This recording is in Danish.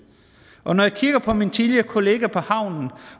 og når jeg kigger på mine tidligere kollegaer på havnen